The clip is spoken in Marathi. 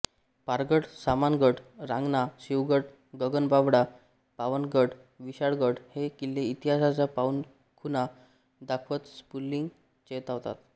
पारगड सामानगड रांगणा शिवगड गगनबावडा पावनगड विशाळगड हे किल्ले इतिहासाच्या पाऊलखुणा दाखवत स्फुल्लिंग चेतवतात